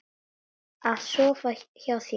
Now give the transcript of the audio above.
Af sofa hjá þér?